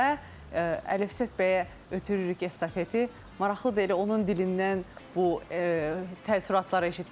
Və Əlifşət bəyə ötürürük estafeti, maraqlıdır elə onun dilindən bu təəssüratları eşitmək.